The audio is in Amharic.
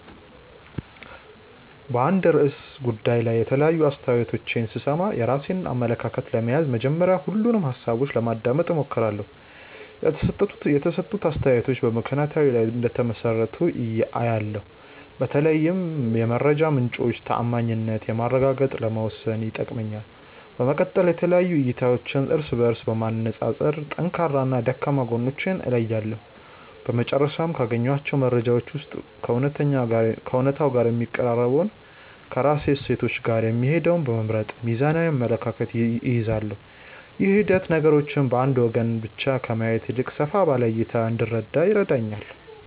በአንድ ርዕሰ ጉዳይ ላይ የተለያዩ አስተያየቶችን ስሰማ፣ የራሴን አመለካከት ለመያዝ መጀመሪያ ሁሉንም ሃሳቦች ለማዳመጥ እሞክራለሁ። የተሰጡት አስተያየቶች በምክንያታዊነት ላይ እንደተመሰረቱ አያለው፤ በተለይም የመረጃ ምንጮቹን ተዓማኒነት ማረጋገጥ ለመወሰን ይጠቅመኛል። በመቀጠል የተለያዩ እይታዎችን እርስ በእርስ በማነፃፀር ጠንካራና ደካማ ጎናቸውን እለያለሁ። በመጨረሻም፣ ካገኘኋቸው መረጃዎች ውስጥ ከእውነታው ጋር የሚቀራረበውንና ከራሴ እሴቶች ጋር የሚሄደውን በመምረጥ ሚዛናዊ አመለካከት እይዛለሁ። ይህ ሂደት ነገሮችን በአንድ ወገን ብቻ ከማየት ይልቅ ሰፋ ባለ እይታ እንድረዳ ይረዳኛል።